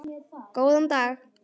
Góðan dag.